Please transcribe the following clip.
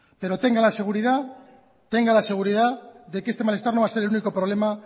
pero tenga la seguridad de que este malestar no va a ser el único problema